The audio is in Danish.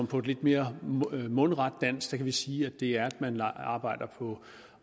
på et lidt mere mundret dansk kan vi sige at det er at man arbejder på